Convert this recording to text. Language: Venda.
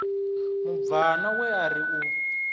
mubvana we a ri u